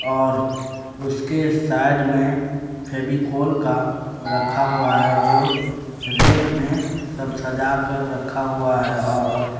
और उसके सैड मे फेविकोल का रखा हुआ है जो रेख मे सब सजा कर रखा हुआ है और --